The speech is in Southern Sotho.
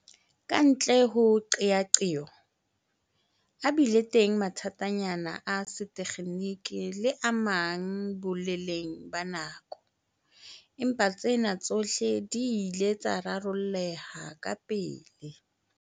Kantle ho qeaqeo, a bile teng mathatanyana a setekgeniki le a mang boleleng ba nako, empa tsena tsohle di ile tsa rarolleha kapele.